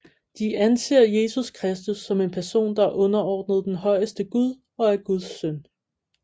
De anser Jesus Kristus som en person der er underordnet den højeste Gud og er Guds søn